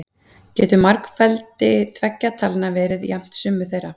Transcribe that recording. Getur margfeldi tveggja talna verið jafnt summu þeirra?